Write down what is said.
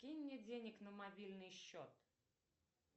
кинь мне денег на мобильный счет